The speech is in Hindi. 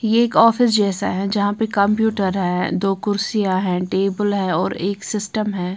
ये एक ऑफिस जैसा है जहां पर कंप्यूटर है दो कुर्सियां हैं टेबल है और एक सिस्टम है।